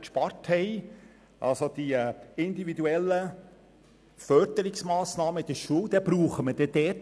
Wir haben für IBEM, also die individuellen Fördermassnahmen in der Schule, im November/Dezember Einsparungen vorgenommen.